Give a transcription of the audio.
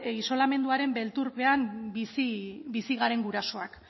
isolamenduaren beldurpean bizi garen gurasoak